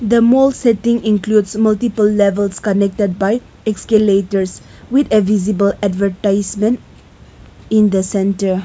the more setting includes multiple levels connected by escalators with a visible advertisement in the centre.